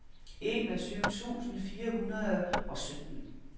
enogtyve tusind fire hundrede og sytten